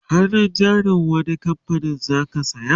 hannun jarin wani kamfanin zaka saya?